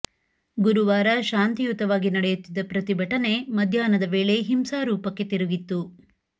ಗುರುವಾರ ಶಾಂತಿಯುತವಾಗಿ ನಡೆಯುತ್ತಿದ್ದ ಪ್ರತಿಭಟನೆ ಮಧ್ಯಾಹ್ನದ ವೇಳೆ ಹಿಂಸಾ ರೂಪಕ್ಕೆ ತಿರುಗಿತ್ತು